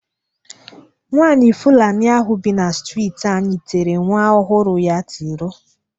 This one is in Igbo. Nwaanyị Fụlanị bi na streeti anyị tere nwa ọhụrụ ya tiro.